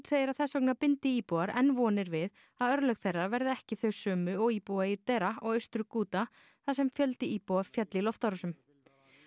segir að þess vegna bindi íbúar enn vonir við að örlög þeirra verði ekki þau sömu og íbúa í og Austur Ghouta þar sem fjöldi íbúa féll í loftárásum